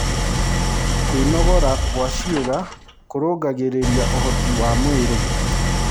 Kũnogora gwa ciĩga kũrũngagĩrĩrĩa ũhotĩ wa mwĩrĩ